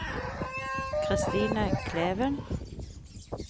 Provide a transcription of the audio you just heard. Kristine Kleven